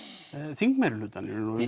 þing meirihlutann fyrir